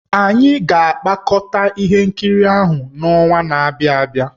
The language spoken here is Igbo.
Anyị ga-apịakọta ihe nkiri ahụ n'ọnwa na-abịa abịa.